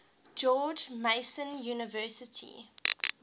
george mason university